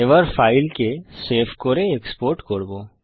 এবার ফাইলকে সেভ করে এক্সপোর্ট করব